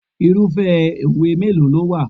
Irúfẹ́ òwe mélòó ló wà?